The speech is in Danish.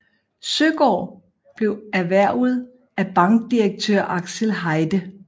Søgaard blev erhvervet af bankdirektør Axel Heide